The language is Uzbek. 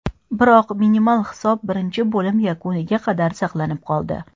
Biroq minimal hisob birinchi bo‘lim yakuniga qadar saqlanib qoldi.